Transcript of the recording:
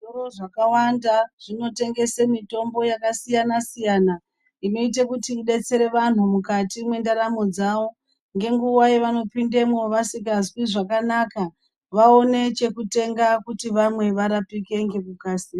Zvitoro zvakawanda zvinotengese mitombo yakasiyana-siyana. Inoite kuti idetsere vantu mukati mwendaramo dzavo. Ngenguwa yevanopindemwo vasikazwi zvakanaka, vaone chekutenga kuti vamwe varapike ngekukasira.